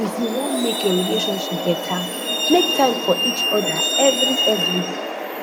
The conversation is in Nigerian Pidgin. if yu wan mek your relationship beta mek time for each oda evri evri